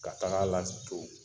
Ka taga la ton .